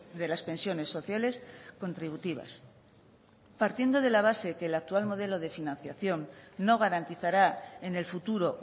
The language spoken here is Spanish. de las pensiones sociales contributivas partiendo de la base que el actual modelo de financiación no garantizará en el futuro